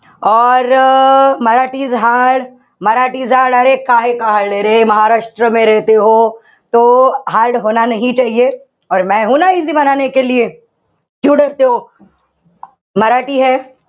or Marathi is hard easy